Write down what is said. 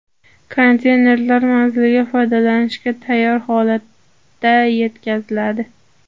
Konteynerlar manzilga foydalanishga tayyor holatda yetkaziladi.